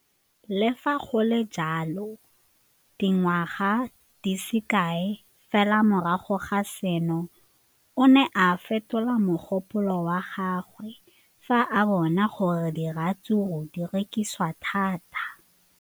Le fa go le jalo, dingwaga di se kae fela morago ga seno, o ne a fetola mogopolo wa gagwe fa a bona gore diratsuru di rekisiwa thata.